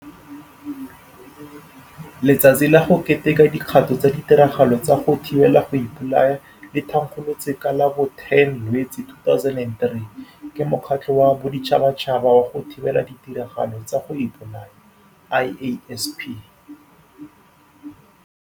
Letsatsi la go Keteka Di kgato tsa ditiragalo tsa go Thibela go Ipolaya le thankgolotswe ka la bo 10 Lwetse 2003 ke Mokgatlho wa Boditšhabatšhaba wa go Thibela Ditiragalo tsa go Ipo laya, IASP.